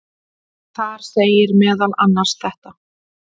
Þar segir meðal annars þetta: